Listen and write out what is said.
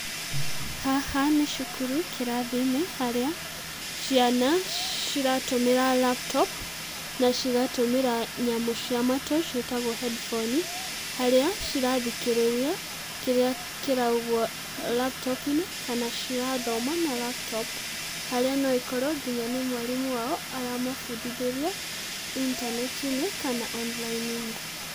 Haha nĩ cukuru kĩrathi-inĩ harĩa, ciana ciratũmĩra laptop na cigatũmĩra nyamũ cia matũ ciĩtagwo hendiboni harĩa cirathikĩrĩria kĩrĩa kĩraugwo laptop -inĩ kana cirathoma na laptop harĩa no ĩkorwo nginya nĩ mwarimũ wao aramabundithĩria intanetinĩ kana online -inĩ.